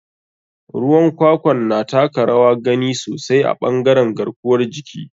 Ruwan kwakwan na taka rawar gani sosai a ɓangare garkuwar jiki.